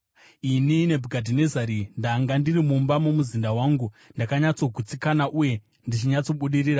Ini Nebhukadhinezari ndakanga ndiri mumba mumuzinda wangu, ndakanyatsogutsikana uye ndichinyatsobudirira.